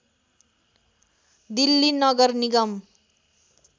दिल्ली नगर निगम